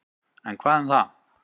En hvað um það.